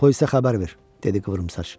polisə xəbər ver, dedi qıvrımsaç.